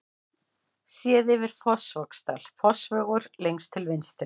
Séð yfir Fossvogsdal, Fossvogur lengst til vinstri.